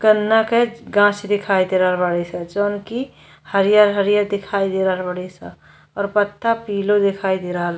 काना के गाछ दिखाई दे रहल बाड़ीसन। जोवन की हरियर हरियर दिखाई दे रहल बाडीसन और पत्ता पिलो दिखाई दे रहल --